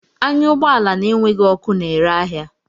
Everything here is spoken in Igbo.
Anya ụgbọ ala na-enweghị ọkụ na-ere ahịa!